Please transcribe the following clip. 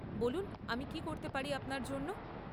বলুন, আমি কী করতে পারি আপনার জন্য?